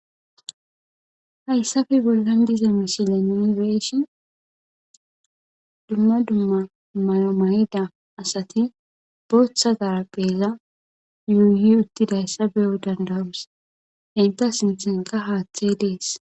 Haysape bolan de'iza misilen nuni be'ishin duma duma mayo mayida asati bootha xarpheza yuyutidaysa be'o danda'os eeta sinthenka haathe de'es.